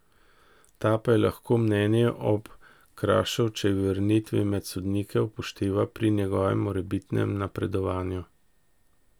Ta pa lahko mnenje ob Krašovčevi vrnitvi med sodnike upošteva pri njegovem morebitnem napredovanju.